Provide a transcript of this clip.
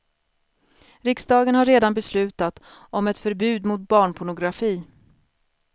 Riksdagen har redan beslutat om ett förbud mot barnpornografi.